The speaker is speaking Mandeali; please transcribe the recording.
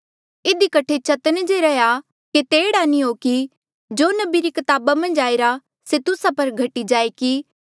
इधी कठे चतन्न जे रैहया केते एह्ड़ा नी हो कि जो नबी री कताबा मन्झ आईरा से तुस्सा पर घटी जाए कि